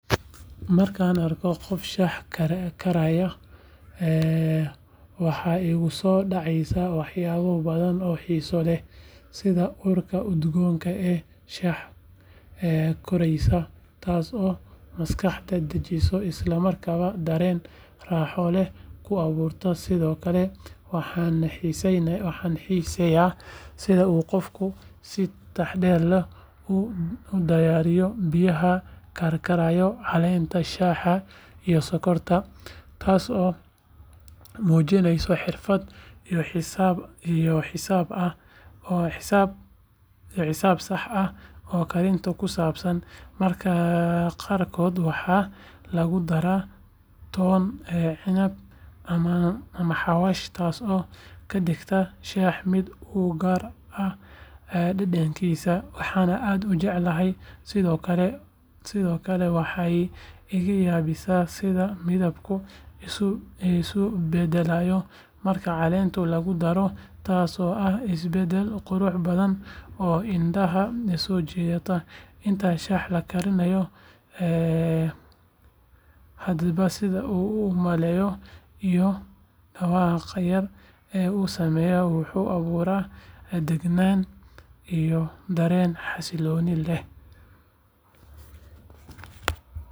Marka aan arko qof shaah karaya waxa igu soo dhacaya waxyaabo badan oo xiiso leh sida urta udgoon ee shaaha koraysa taasoo maskaxda dejisa isla markaana dareen raaxo leh kuu abuuraysa sidoo kale waxaan xiiseeyaa sida uu qofku si taxaddar leh ugu darayo biyaha karkaraya caleenta shaaha iyo sokorta taasoo muujinaysa xirfad iyo xisaab sax ah oo karinta ku saabsan mararka qaarkood waxaa lagu daraa toon cinab ama xawaash taasoo ka dhigta shaaha mid u gaar ah dhadhankaas waxaan aad u jeclahay sidoo kale waxay iga yaabisaa sida midabku isu bedelo marka caleenta lagu daro taasoo ah isbeddel qurux badan oo indhaha soo jiita inta shaaha la karinayo hadba sida uu u uumayo iyo dhawaaqa yar ee uu sameeyo wuxuu abuuraa deganaan iyo dareen xasillooni leh.